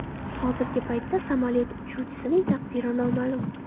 Hozirgi paytda samolyot uchuvchisining taqdiri noma’lum.